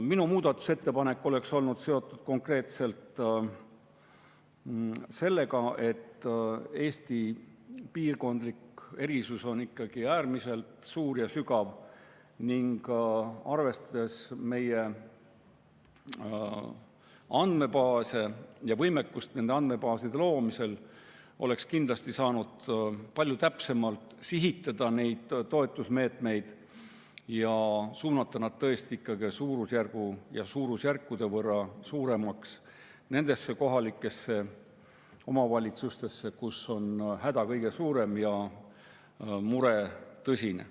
Minu muudatusettepanek oleks olnud seotud konkreetselt sellega, et Eesti piirkondlikud erisused on ikkagi äärmiselt suured ja sügavad ning ka arvestades meie andmebaase ja võimekust nende andmebaaside loomisel, oleks kindlasti saanud neid toetusmeetmeid palju täpsemalt sihitada ja suunata nad tõesti ikkagi suurusjärkude võrra suuremalt nendesse kohalikesse omavalitsustesse, kus on häda kõige suurem ja mure tõsine.